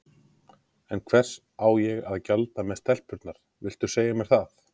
En hvers á ég að gjalda með stelpurnar, viltu segja mér það?